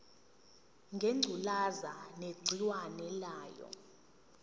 ngengculazi negciwane layo